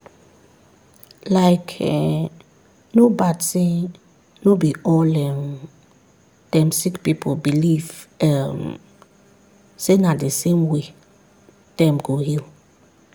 like[um]no bad say no be all um dem sick pipu believe um say na the same way dem go heal.